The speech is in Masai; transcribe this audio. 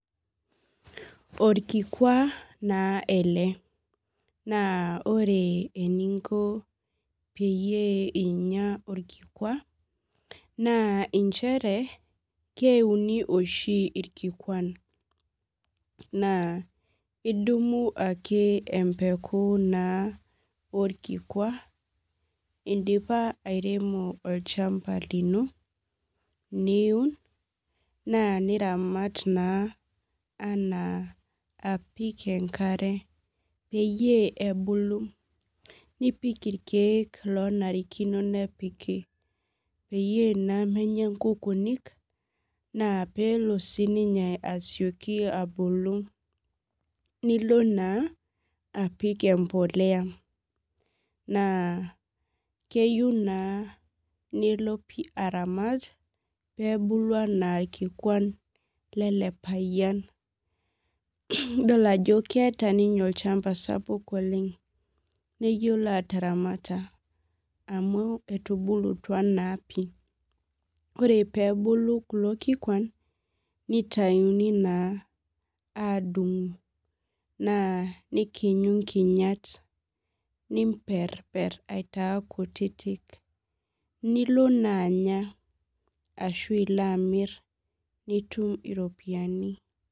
Orkikua naa ele olna ore eninko peyie inya orkikua na nchere keiuni Oshi irkikuan na idumibake empeku orkikua indipa airemo olchamba lino niun n aniramat na ana apik enkare peyie ebulu nipik irkiek onarikino nepiki peyie menya nkukunik na pelo na sinye asioki abulu nilonna apik empolea na keyieu na nilonaramat pepuku na airkikun lele payian, idol ajo keeta olchamba sapuk neyiolo ataramata amu etubulutwa na pii ore pebulu kulo kikwan nitauni na adung na nidungu nkinyaat na nimperiper aitaa kutitik nilo na anya ilobamiriropiyani.